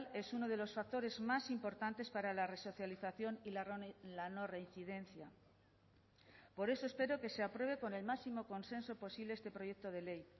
es uno de los factores más importantes para la resocialización y la no reincidencia por eso espero que se apruebe con el máximo consenso posible este proyecto de ley